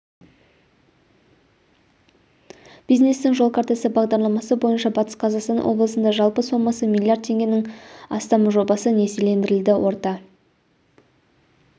бизнестің жол картасы бағдарламасы бойынша батыс қазақстан облысында жалпы сомасы миллиард теңгенің астам жобасы несиелендірілді орта